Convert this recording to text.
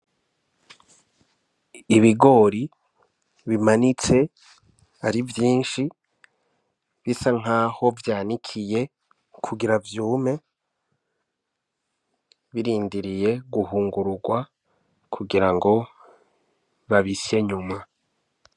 Ibigori bimanitse ari vyinshi bisa nk'aho vyanikiye kugira vyume birindiriye guhungururwa kugira ngo babisye nyuma.